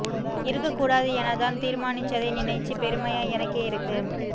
இருக்கக் கூடாது என தான் தீர்மானிச்சதை நினைச்சு பெருமையா எனக்கே இருக்கு